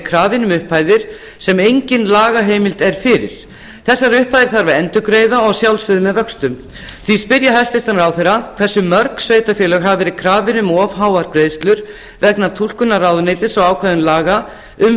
krafin um upphæðir sem engin lagaheimild er fyrir þessar upphæðir þarf að endurgreiða og að sjálfsögðu með vöxtum því spyr ég hæstvirtan ráðherra hversu mörg sveitarfélög hafa verið krafin um of háar greiðslur vegna túlkunar ráðuneytis og ákvæðum laga um